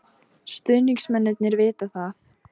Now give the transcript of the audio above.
Stuðningsmennirnir vita það.